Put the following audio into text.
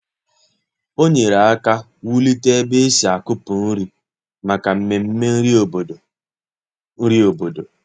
Ọ nyerè aka wùlite ebe e si akùpụ nri maka mmemme nri obodo. nri obodo.